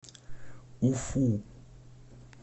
уфу